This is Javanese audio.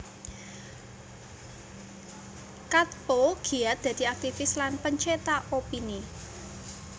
Katppo giat dadi aktivis lan pencetak opini